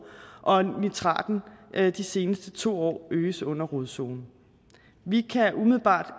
og at nitraten de seneste to år er øget under rodzonen vi kan umiddelbart